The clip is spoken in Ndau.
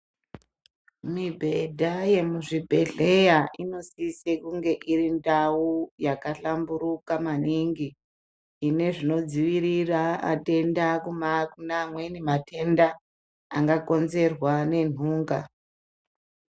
Mibhedha yemuzvibhehleya inosise kunge iri ndau yakahlamburuka maningi ine zvinodziira atenda kuma kune amweni matenda angakonzerwa nenhunga